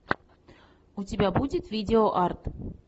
у тебя будет видео арт